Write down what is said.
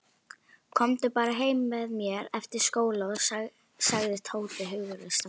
Komdu bara heim með mér eftir skóla sagði Tóti hughreystandi.